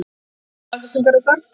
Staðfestingar er þörf.